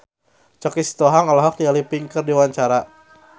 Choky Sitohang olohok ningali Pink keur diwawancara